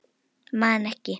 Man ekki.